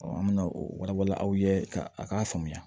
an bɛ na o wala wala aw ye ka a k'a faamuya